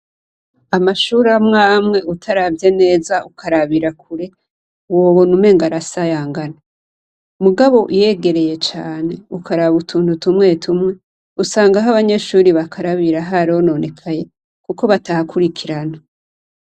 Amashure amwe amwe utaravye neza ukarabira kure, wobona umengo arasayangana. Mugabo uyegereye cane ukaraba utuntu tumwe tumwe, usanga aho banyeshure bakarabira harononekaye kuko batahakurikirana.